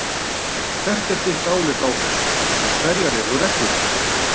Hvert er þitt álit á þessu og hverjar eru reglurnar?